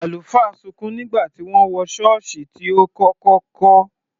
Àlùfáà sunkún nígbà tí ó wọ ṣọ́ọ̀ṣì tí ó kọ́kọ́ kọ́.